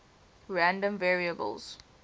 random variables